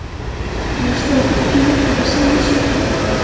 Ástæðan fyrir því er í sjálfu sér einföld.